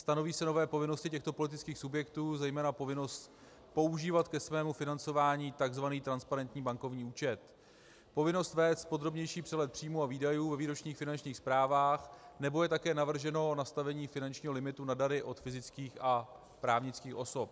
Stanoví se nové povinnosti těchto politických subjektů, zejména povinnost používat ke svému financování tzv. transparentní bankovní účet, povinnost vést podrobnější přehled příjmů a výdajů ve výročních finančních zprávách nebo je také navrženo nastavení finančního limitu na dary od fyzických a právnických osob.